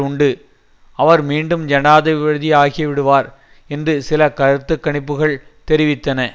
உண்டு அவர் மீண்டும் ஜனாதிபதியாகிவிடுவார் என்று சில கருத்து கணிப்புக்கள் தெரிவித்தன